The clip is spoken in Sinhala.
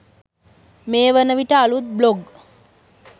මේ වනවිට අලුත් බ්ලොග්